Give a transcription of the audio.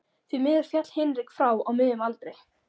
Því miður féll Hinrik frá á miðjum aldri.